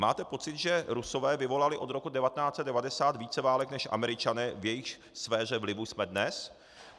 Máte pocit, že Rusové vyvolali od roku 1990 více válek než Američané, v jejichž sféře vlivu jsme dnes?